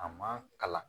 A ma kalan